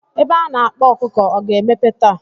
Ebe a na-akpa ọkụkọ ọ ga-emepe taa.